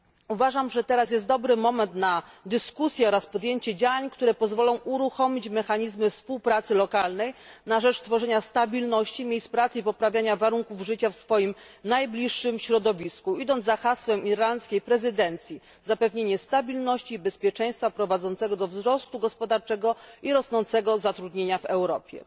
Uważam, że teraz jest dobry moment na dyskusję oraz podjęcie działań, które pozwolą uruchomić mechanizmy współpracy lokalnej na rzecz tworzenia stabilności, miejsc pracy i poprawy warunków życia w swoim najbliższym środowisku, idąc za hasłem irlandzkiej prezydencji, które brzmi Zapewnienie stabilności i bezpieczeństwa prowadzącego do wzrostu gospodarczego i rosnącego zatrudnienia w Europie.